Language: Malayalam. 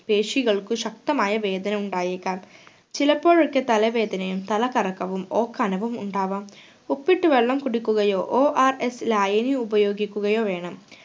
പേശികൾക്കു ശക്തമായ വേദന ഉണ്ടായേക്കാം ചിലപ്പോഴൊക്കെ തല വേദനയും തല കറക്കവും ഓക്കാനവും ഉണ്ടാകാം ഉപ്പിട്ട് വെള്ളം കുടിക്കുകയോ ORS ലായിനി ഉപയോഗിക്കുകയോ വേണം